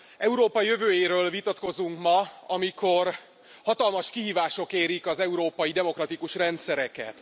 Európa jövőjéről vitatkozunk ma, amikor hatalmas kihívások érik az európai demokratikus rendszereket.